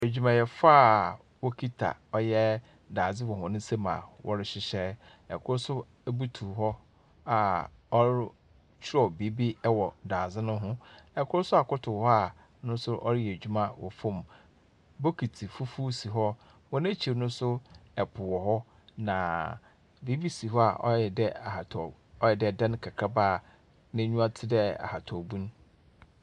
Adwumayɛfoɔ a wɔkita ɔyɛ daze wɔ hɔn nsam a wɔrehyehyɛ. Kor nso butu hɔ a ɔrotwerɛ biribi wɔ dadze no ho. Kor nso akoto hɔ a no nso ɔreyɛ edwuma wɔ fam. Bokiti fufuo si hɔ. Hɔn ekyir no nso po wɔ hɔ, na biribi si hɔ a wɔayɛ dɛ ahataw, wɔayɛ dɛ dan kakraba a nenyiwa te dɛ ahaban bun.